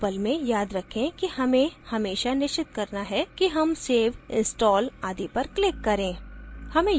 drupal में याद रखें कि हमें हमेशा निश्चित करना है कि हम save install आदि पर click करें